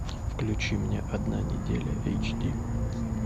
включи мне одна неделя эйч ди